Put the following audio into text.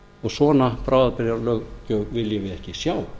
og svona bráðabirgðalög viljum við ekki sjá